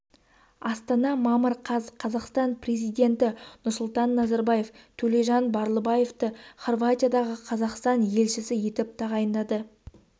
астана мамыр қаз қазақстан президенті нұрсұлтан назарбаевтөлежанбарлыбаевты хорватиядағы қазақстан елшісі етіп тағайындады деп хабарлады мемлекет басшысының